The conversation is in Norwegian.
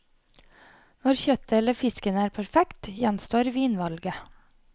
Når kjøttet eller fisken er perfekt, gjenstår vinvalget.